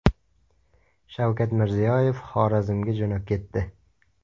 Shavkat Mirziyoyev Xorazmga jo‘nab ketdi.